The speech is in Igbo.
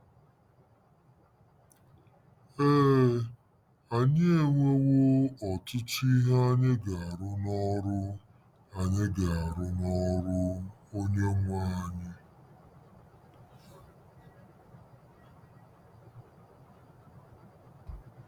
Ee, anyị enwewo 'ọtụtụ ihe anyị ga-arụ n'ọrụ anyị ga-arụ n'ọrụ Onyenwe anyị.